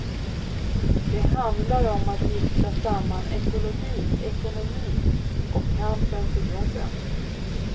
Den handlar om att gifta samman ekologi, ekonomi och kampen för jobben.